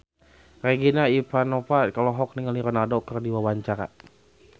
Regina Ivanova olohok ningali Ronaldo keur diwawancara